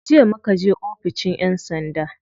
Jiya muka je oficin yan sanda.